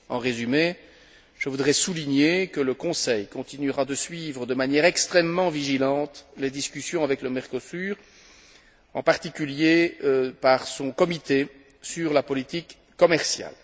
En résumé, je voudrais souligner que le Conseil continuera de suivre de manière extrêmement vigilante les discussions avec le Mercosur, en particulier au sein du comité sur la politique commerciale.